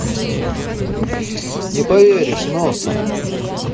не поверишь носа